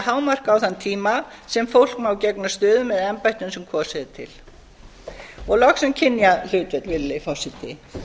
hámark á þann tíma sem fólk má gegna stöðum eða embættum sem kosið er til virðulegi forseti loks um kynjahlutföll því